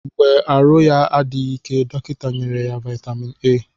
Mgbe arụ ya adịghị ike dọkịta nyere ya vitamin A